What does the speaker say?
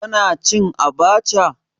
Kana cin abacha?